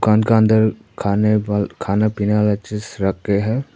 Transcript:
दुकान का अंदर खाने वा खाने पीने वाला चीज रखे हैं।